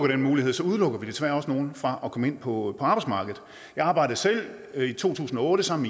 den mulighed udelukker vi desværre også nogle fra at komme ind på arbejdsmarkedet jeg arbejdede selv i to tusind og otte sammen